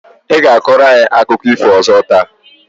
I ga-akọrọ anyị akụkọ ifo ọzọ taa?